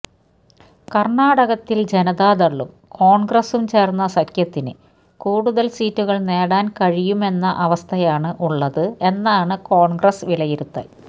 കർണാടകത്തിൽ ജനതാദളും കോൺഗ്രസും ചേർന്ന സഖ്യത്തിന് കൂടുതൽ സീറ്റുകൾ നേടാൻ കഴിയും എന്ന അവസ്ഥയാണ് ഉള്ളത് എന്നാണ് കോൺഗ്രസ് വിലയിരുത്തൽ